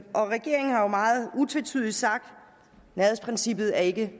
og regeringen har jo meget utvetydigt sagt nærhedsprincippet er ikke